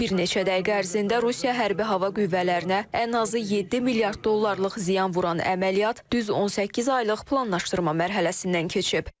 Bir neçə dəqiqə ərzində Rusiya hərbi hava qüvvələrinə ən azı 7 milyard dollarlıq ziyan vuran əməliyyat düz 18 aylıq planlaşdırma mərhələsindən keçib.